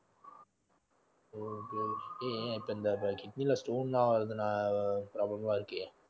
இப்போ kidney ல stone லாம் problem லாம் இருக்கே